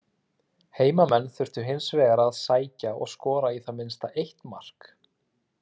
Heimamenn þurftu hins vegar að sækja og skora í það minnsta eitt mark.